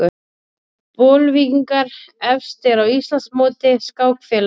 Bolvíkingar efstir á Íslandsmóti skákfélaga